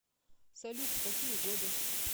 салют в какие годы